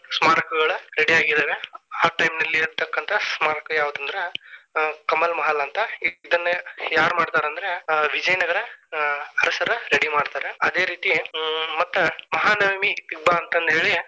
ಸ್ಮಾರಕಗಳ ready ಆಗಿದಾವೆ ಆ time ನಲ್ಲಿ ಇರ್ತಕ್ಕಂತ ಸ್ಮಾರಕಾ ಯಾವುದಂದ್ರ Kamal Mahal ಅಂತ ಇದನ್ನಾ ಯಾರ ಮಾಡಿದರೆ ಅಂದ್ರ ವಿಜಯನಗರ ಅರಸರ ready ಮಾಡ್ತಾರ, ಅದೇ ರೀತಿ ಹ್ಮ್ ಮತ್ತ ಮಹಾನವಮಿದಿಬ್ಬ ಅಂತಂದೇಳಿ.